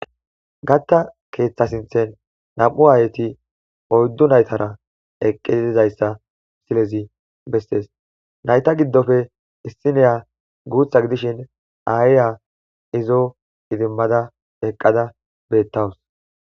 gatta keeththasinthen nam7u aayeti oyddu naytara eqqitizayssa silezi bessees nayta giddofe issiniya guutha gidishin ayiya izo idimmada eqqada beettawus